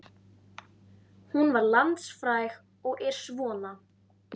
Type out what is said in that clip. Hún varð landsfræg og er svona